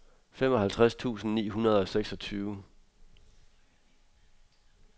femoghalvtreds tusind ni hundrede og seksogtyve